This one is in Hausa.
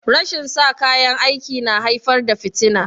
Rashin sa kayan aiki na haifar da fitina